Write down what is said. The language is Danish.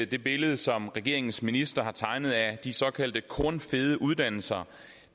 det billede som regeringens ministre har tegnet af de såkaldte kornfede uddannelser